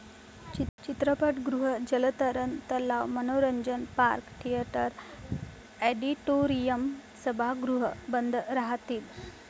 चित्रपटगृह, जलतरण तलाव, मनोरंजन पार्क, थिएटर, ऑडिटोरीयम, सभागृह बंद राहतील.